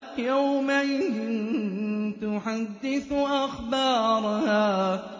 يَوْمَئِذٍ تُحَدِّثُ أَخْبَارَهَا